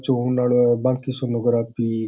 बाकी sonography --